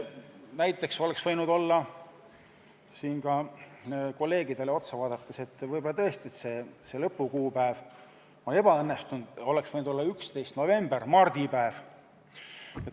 Näiteks oleks selle asemel võinud olla – kolleegidele otsa vaadates on see lõpukuupäev võib-olla tõesti ebaõnnestunud – 10. november, mardipäev.